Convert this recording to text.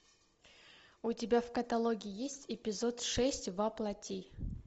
у тебя в каталоге есть эпизод шесть во плоти